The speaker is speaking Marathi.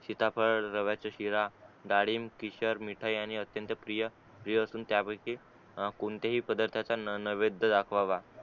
सीताफळ रव्याचा शिरा डाळिंब केशर मीठा यांनी अत्यंत प्रिय प्रिय असून त्या पैकी कोणत्याही पदार्थाचा न नैवैद दाखवावा